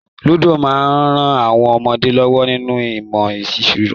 Lúdò máa ń ran àwọn ọmọdé lọ́wọ́ ninu ìmọ̀ ìṣirò